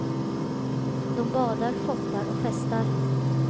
De badar, shoppar och festar.